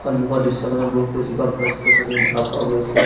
সন্মুখৰ দৃশ্যখনত বহুকেইজোপা গছ-গছনি দেখা পোৱা গৈছে।